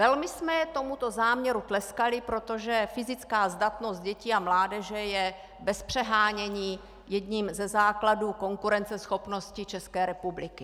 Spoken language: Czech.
Velmi jsme tomuto záměru tleskali, protože fyzická zdatnost dětí a mládeže je bez přehánění jedním ze základů konkurenceschopnosti České republiky.